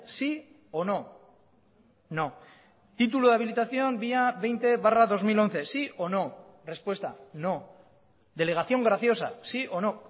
sí o no no título de habilitación vía veinte barra dos mil once si o no respuesta no delegación graciosa sí o no